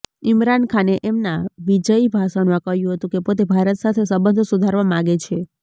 ઈમરાન ખાને એમના વિજયી ભાષણમાં કહ્યું હતું કે પોતે ભારત સાથે સંબંધો સુધારવા માગે છે